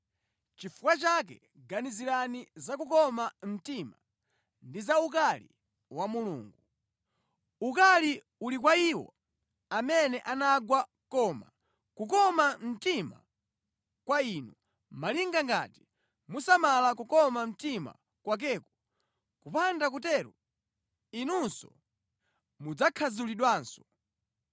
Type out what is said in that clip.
Nʼchifukwa chake ganizirani za kukoma mtima ndi za ukali wa Mulungu. Ukali uli kwa iwo amene anagwa koma kukoma mtima kwa inu, malinga ngati musamala kukoma mtima kwakeko kupanda kutero inunso mudzakhadzulidwanso.